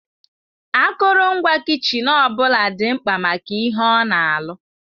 Akụrụngwa kichin ọ bụla dị mkpa maka ihe ona alụ.